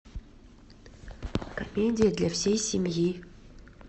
комедия для всей семьи